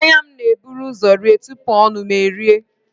Anya m na-eburu ụzọ rie tupu ọnụ m eeis